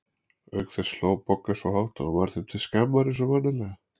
Auk þess hló Bogga svo hátt að hún varð þeim til skammar eins og vanalega.